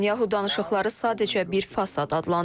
Netanyahu danışıqları sadəcə bir fasad adlandırıb.